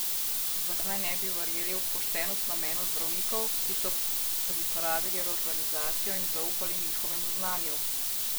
Zakaj ne bi verjeli v poštenost namenov zdravnikov, ki so pripravili reorganizacijo in zaupali njihovemu znanju?